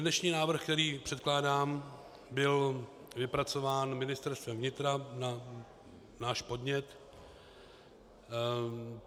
Dnešní návrh, který předkládám, byl vypracován Ministerstvem vnitra na náš podnět.